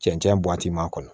Cɛncɛn buwati m'a kɔnɔ